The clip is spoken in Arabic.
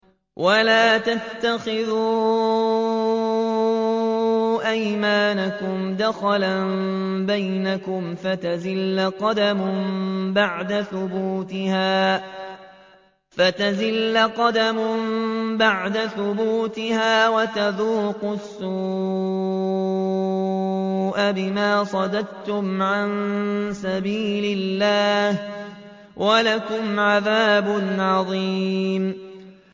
وَلَا تَتَّخِذُوا أَيْمَانَكُمْ دَخَلًا بَيْنَكُمْ فَتَزِلَّ قَدَمٌ بَعْدَ ثُبُوتِهَا وَتَذُوقُوا السُّوءَ بِمَا صَدَدتُّمْ عَن سَبِيلِ اللَّهِ ۖ وَلَكُمْ عَذَابٌ عَظِيمٌ